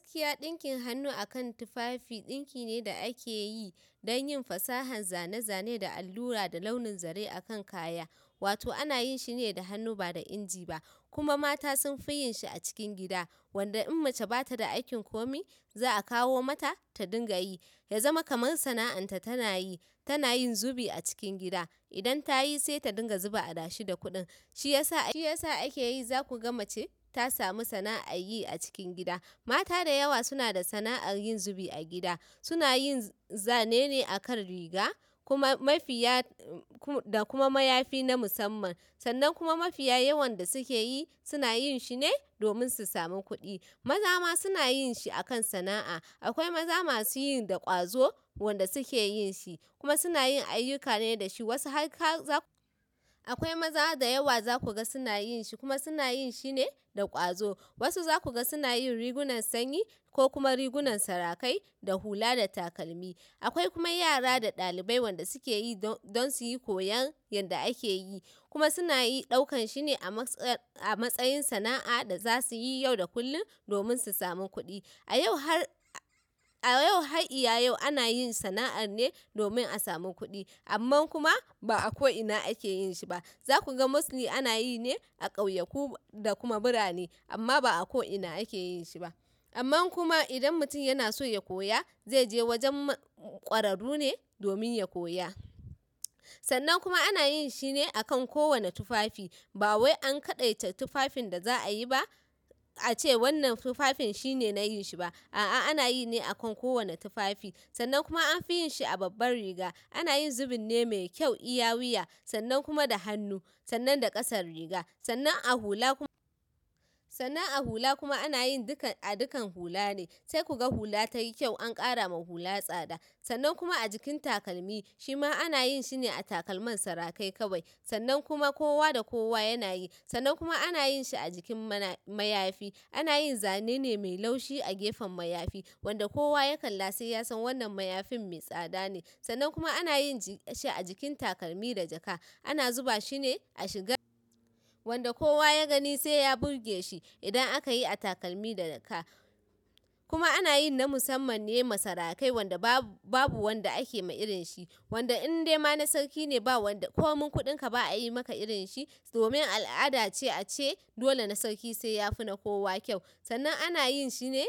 Gaskiya ɗinkin hannu akan tufafi ɗinki ne da akeyi don yin fasahar zane-zane da allura da launin zare akan kaya. Wato ana yin shi ne da hannu ba da inji ba kuma mata sun fi yin shi a cikin gida. Wanda in mace ba ta da aikin komi, za a kawo mata ta dinga yi. Ya zama kamar sana'anta tana yi. Tana yin zubi a cikin gida. Idan ta yi sai ta dinga zuba adashi da kuɗin. Shi ya sa, shi ya sa ake yi za ku ga mace ta samu sana'ar yi a cikin gida. Mata da yawa suna da sana'ar yin zubi a gida. Suna yin zane ne akan riga, kuma mafiya, da kuma mayafi na musamman. Sannan kuma mafiya yawan da suke yi, suna yin shi ne domin su sami kuɗi. Maza ma suna yin shi akan sana'a. Akwai maza masu yin da ƙwazo wanda suke yin shi, kuma suna yin ayyuka ne da shi. Wasu har ka za-- akwai maza da yawa za ku ga suna yin shi kuma suna yin shi ne da ƙwazo. Wasu za ku ga suna yin rigunan sanyi ko kuma rigunan sarakai da hula da takalmi. Akwai kuma yara da ɗalibai wanda suke yi don, don su yi koyon yadda ake yi, kuma suna yi ɗaukan shi ne a matsayi, a matsayin sana'a da za su yi yau da kullum domin su sami kuɗi. A yau har, a yau har ila yau ana yin sana'ar ne domin a sami kuɗi. Amma kuma ba a ko ina ake yin shi ba. Za ku ga mostly ana yi ne a ƙauyaku da kuma birane, amma ba a ko ina ake yin shi ba. Amma kuma idan mutum yana so ya koya, zai je wajen ƙwararru ne domin ya koya. Sannan kuma ana yin shi ne akan kowane tufafi. Ba wai an kaɗaita tufafin da za a yi ba, ace wannan tufafin shi ne na yin shi ba. A'a, ana yi ne akan kowane tufafi. Sannan kuma an fi yin shi a babbar riga. Ana yin zubin ne mai kyau iya wuya, sannan kuma da hannu, sannan da ƙasar riga, sannan a hula kuma, sannan a hula kuma ana yin dukan, a dukan hula ne. Sai ku ga hula ta yi kyau an ƙara ma hula tsada. Sannan kuma a jikin takalmi, shi ma ana yin shi ne a takalman sarakai kawai. Sannan kuma kowa da kowa yana yi. Sannan kuma ana yin shi a jikin mana, mayafi. Ana yin zanene mai laushi a gefen mayafi. Wanda kowa ya kalla sai ya san wannan mayafin mai tsada ne. Sannan kuma ana yin shi a jikin takalmi da jaka. Ana zuba shi ne a shiga, wanda kowa ya gani sai ya burge shi idan aka yi a takalmi da jaka. Kuma ana yi na musamman ne ma sarakai wanda babu, babu wanda ake ma irin shi. Wanda in dai ma na sarki ne ba wanda ko min kuɗinka ba a yi maka irin shi domin al'ada ce a ce dole na sarki sai ya fi na kowa kyau. Sannan ana yin shi ne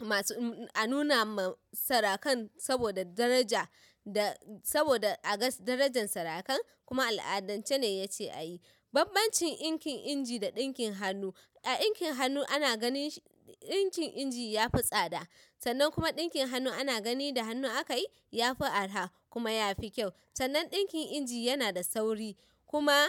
masu, a nuna ma sarakan saboda daraja da saboda a ga darajan sarakan, kuma al'adance ne ya ce a yi. Banbancin ɗinkin inji da ɗinkin hannu, a ɗinkin hannu ana ganin, ɗinkin inji ya fi tsada. Sannan kuma ɗinkin hannu ana gani da hannu aka yi, ya fi araha kuma ya fi kyau. Sannan ɗinkin inji yana da sauri, kuma,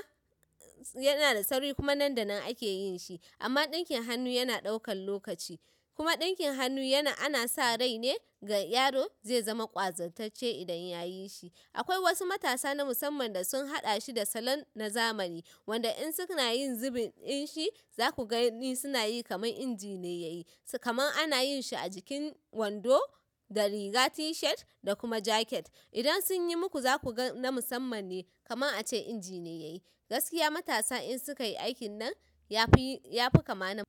yana da sauri kuma nan da nan ake yin shi. Amma ɗinkin hannu yana ɗaukan lokaci. Kuma ɗinkin hannu yana, ana sa rai ne ga yaro zai zama ƙwazartacce idan ya yi shi. Akwai wasu matasa na musamman da sun haɗa shi da salon na zamani, wanda in suna yin zubin in shi za ku gani suna yi kamar inji ne ya yi. Kamar ana yin shi a jikin wando da riga t-shirt da kuma jaket. Idan sun yi muku za ku ga na musamman ne, kamar a ce inji ne ya yi. Gaskiya matasa in suka yi aikin nan ya fi, ya fi kama na--